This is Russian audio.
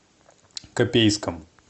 копейском